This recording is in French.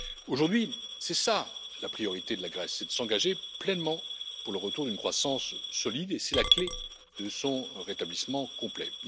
Aujourd'hui, c'est cela la priorité de la Grèce, c'est de s'engager pleinement pour le retour d'une croissance solide et c'est la clé de son rétablissement complet.